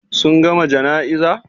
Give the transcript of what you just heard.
Sun gama jana'iza?